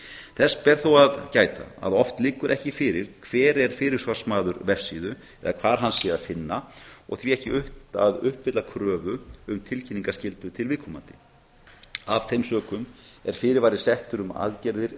þess ber þó að gæta að oft liggur ekki fyrir hver er fyrirsvarsmaður vefsíðu eða hvar hann sé að finna og því ekki unnt að uppfylla kröfu um tilkynningaskyldu til viðkomandi af þeim sökum er fyrirvari settur um aðgerðir